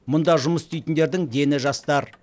мұнда жұмыс істейтіндердің дені жастар